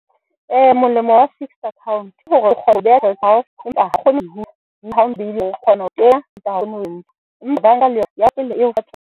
Molemo wa fixed account ke hore o kgona ho beha tjhelete ya hao, empa ha kgone .